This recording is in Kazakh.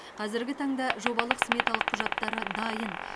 қазіргі таңда жобалық сметалық құжаттары дайын